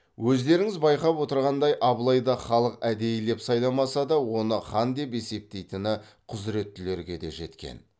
өздеріңіз байқап отырғандай абылайды халық әдейілеп сайламаса да оны хан деп есептейтіні құзыреттілерге де жеткен